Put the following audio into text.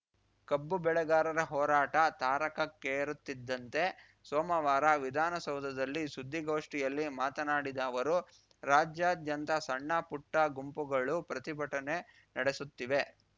ಕಬ್ಬು ಬೆಳೆಗಾರರ ಹೋರಾಟ ತಾರಕಕ್ಕೇರುತ್ತಿದ್ದಂತೆ ಸೋಮವಾರ ವಿಧಾನಸೌಧದಲ್ಲಿ ಸುದ್ದಿಗೋಷ್ಠಿಯಲ್ಲಿ ಮಾತನಾಡಿದ ಅವರು ರಾಜ್ಯಾದ್ಯಂತ ಸಣ್ಣಪುಟ್ಟಗುಂಪುಗಳು ಪ್ರತಿಭಟನೆ ನಡೆಸುತ್ತಿವೆ